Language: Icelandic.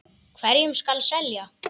Hverjum skal selja?